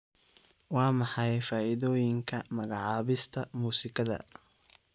Waa maxay faa'iidooyinka magacaabista muusikada?